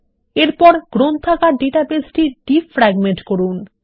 এরপর গ্রন্থাগার database defragment করুন